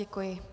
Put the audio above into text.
Děkuji.